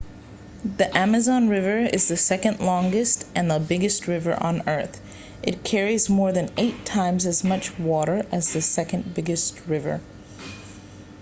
the amazon river is the second longest and the biggest river on earth it carries more than 8 times as much water as the second biggest river